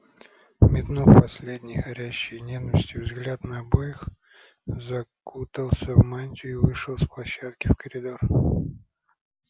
метнув последний горящий ненавистью взгляд на обоих закутался в мантию и вышел с площадки в коридор